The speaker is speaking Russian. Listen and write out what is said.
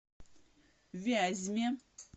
вязьме